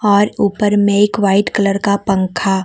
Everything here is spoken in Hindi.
और ऊपर में एक वाइट कलर का पंखा--